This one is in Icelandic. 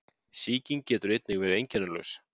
Sýking getur einnig verið einkennalaus.